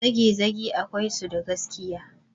Zagezage akwai su da gaskiya.